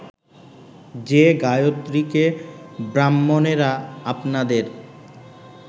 যে গায়ত্রীকে ব্রাহ্মণেরা আপনাদের